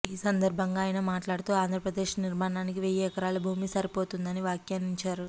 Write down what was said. ఈ సందర్భంగా అయన మాట్లాడుతూ ఆంధ్రప్రదేశ్ నిర్మాణానికి వెయ్యి ఎకరాల భూమి సరిపోతుందని వ్యాఖ్యానించారు